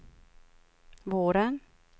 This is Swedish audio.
våren